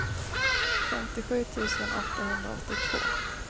femtiosju tusen åttahundraåttiotvå